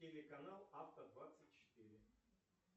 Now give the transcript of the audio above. телеканал авто двадцать четыре